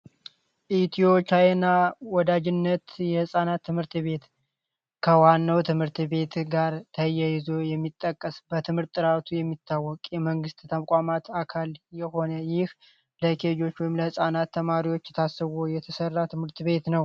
ኢትዮ ቻይና ወዳጅነት የህፃናት ትምህርት ቤት ከዋናው ትምህርት ቤት ጋር ተያይዞ የሚጠቀስ በትምህርት ጥራቱ የሚታወቅ የመንግስት ተቋማት አካል የሆነ ይህ ለኬጆች ወይንም ደግሞ ለህፃናት ታስቦ የተሰራ ትምህርት ቤት ነው።